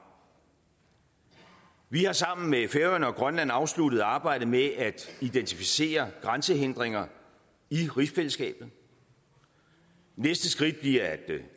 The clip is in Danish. vi har sammen med færøerne og grønland afsluttet arbejdet med at identificere grænsehindringer i rigsfællesskabet næste skridt bliver